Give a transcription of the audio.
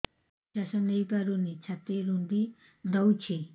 ନିଶ୍ୱାସ ନେଇପାରୁନି ଛାତି ରୁନ୍ଧି ଦଉଛି